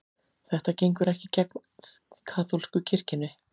Þetta gengur ekki gegn kaþólsku kirkjunni